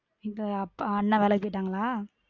இல்ல அப்பா அண்ணா வேலைக்கி போய்டாங்களா?